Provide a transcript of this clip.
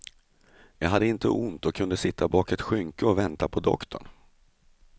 Jag hade inte ont och kunde sitta bak ett skynke och vänta på doktorn.